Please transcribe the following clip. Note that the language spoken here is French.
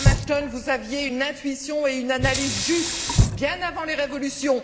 Madame Ashton, vous aviez une intuition et une analyse justes, bien avant les révolutions.